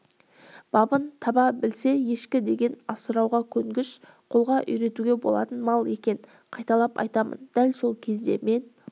бабын таба білсе ешкі деген асырауға көнгіш қолға үйретуге болатын мал екен қайталап айтамын дәл сол кезде мен